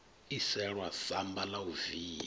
iselwa samba la u via